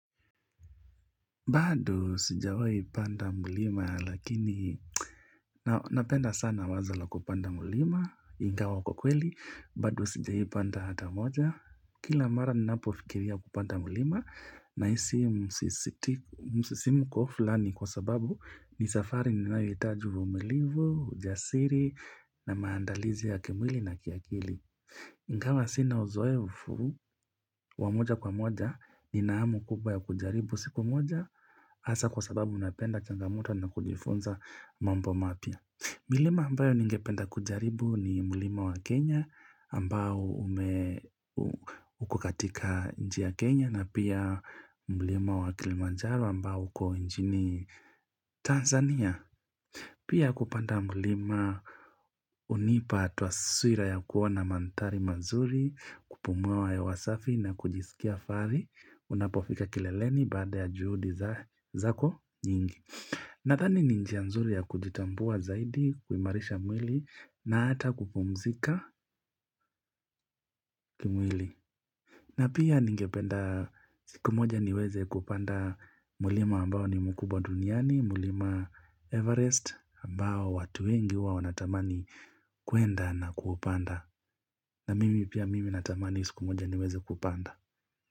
Bado sijawahi panda mlima lakini na napenda sana wazo la kupanda mlima, ingawa kwa kweli, bado sijawihi panda hata moja Kila mara ninapofikiria kupanda mlima nahisi msisimko flani kwa sababu ni safari ninayohitaji uvimulivu, ujasiri na maandalizi ya kimwili na kiakili Ingawa sina uzoevu wa moja kwa moja nina hamu kubwa ya kujaribu siku moja Hasa kwa sababu napenda changamoto na kujifunza mambo mapya. Mlima ambayo ningependa kujaribu ni mlima wa Kenya ambao ume ukokatika nchi Kenya na pia mlima wa Kilimanjaro ambao uko nchini Tanzania. Pia kupanda mlima unipa twaswira ya kuona manthari mazuri, kupumua hewa safi na kujisikia fari, unapofika kileleni baada ya juhudi zako nyingi. Nathani n injia nzuri ya kujitambua zaidi, kuimarisha mwili na hata kupumzika kimwili. Na pia ningependa siku moja niweze kupanda mlima ambao ni mkubwa duniani, mlima Everest ambao watu wengi huwa wanatamani kuenda na kuapanda. Na mimi pia mimi natamani siku moja niweze kupanda.